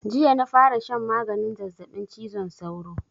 Jiya na fara shan maganin zazzaɓin cizon sauro